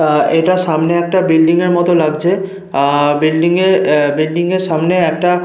আহ এটা সামনে একটা বিল্ডিং এর মতো লাগছে। আহ বিল্ডিং এ বিল্ডিং এর সামনে একটা --